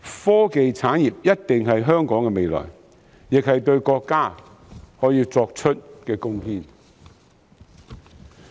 科技產業一定是香港的未來，亦是我們可對國家作出的貢獻。